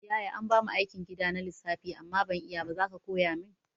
Yaya anbamu aikin gida na lissafi amma ban iyaba zaka koya min